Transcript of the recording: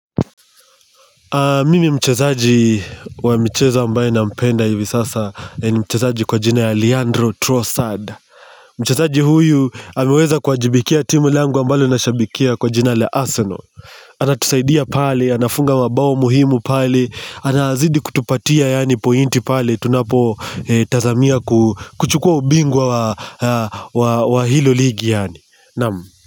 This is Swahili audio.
Mimi mchezaji wa mchezo ambae na mpenda hivi sasa ni mchezaji kwa jina ya Leandro Trossard Mchezaji huyu ameweza kuajibikia timu langu ambalo nashabikia kwa jina la Arsenal. Anatusaidia pale, anafunga mabao muhimu pale, anazidi kutupatia yani pointi pale tunapo tazamia kuchukua ubingwa wa hilo ligi yani, naam.